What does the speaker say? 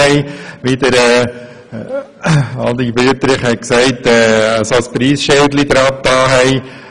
Wie Adrian Wüthrich gesagt hat, tragen diese jetzt ein Preisschild.